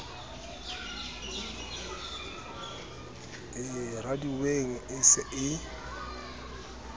e raduweng e se e